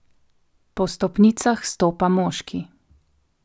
Po stopnicah stopa moški.